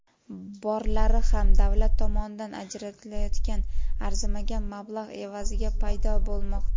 Borlari ham davlat tomonidan ajratilayotgan arzimagan mablag‘ evaziga paydo bo‘lmoqda.